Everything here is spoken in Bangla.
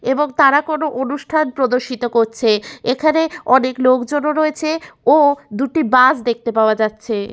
এবং তারা কোনো অনুষ্ঠান প্রদর্শিত করছে। এখানে অনেক লোকজনও রয়েছে ও দুটি বাস দেখতে পাওয়া যাচ্ছে।